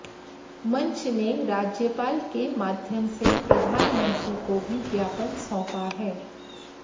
मंच ने राज्यपाल के माध्यम से प्रधानमंत्री को भी ज्ञापन सौंपा है